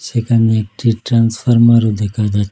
এখানে একটি ট্রান্সফারমারও দেখা যায়।